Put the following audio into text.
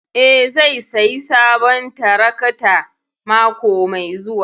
Eh zai sayi sabon tarakta mako mai zuwa.